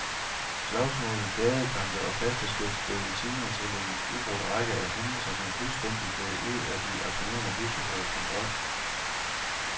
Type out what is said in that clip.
Slagsmål, gadekampe og kasteskyts blev i timer til en ubrudt række af hændelser, som fuldstændig gled ud af de aktionerende buschaufførers kontrol.